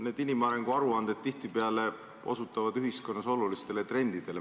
Need inimarengu aruanded osutavad tihtipeale ühiskonnas olulistele trendidele.